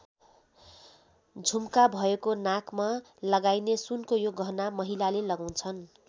झुम्का भएको नाकमा लगाइने सुनको यो गहना महिलाले लगाउँछन्।